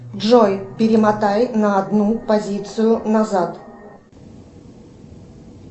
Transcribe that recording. джой перемотай на одну позицию назад